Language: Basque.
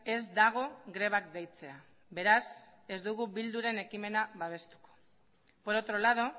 ez dago grebak deitzea beraz ez dugu eh bilduren ekimena babestuko por otro lado